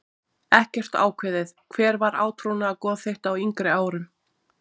Ekkert ákveðið Hver var átrúnaðargoð þitt á yngri árum?